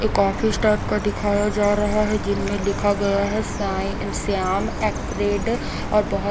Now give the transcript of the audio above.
एक office type का दिखाया जा रहा है जिनमे लिखा गया है साई इन श्याम आर्केड और बहुत--